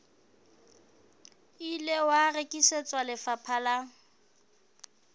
ile wa rekisetswa lefapha la